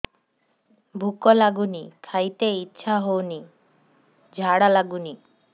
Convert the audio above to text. ଭୁକ ଲାଗୁନି ଖାଇତେ ଇଛା ହଉନି ଝାଡ଼ା ଲାଗୁନି